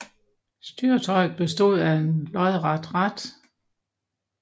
Styretøjet bestod af et lodret rat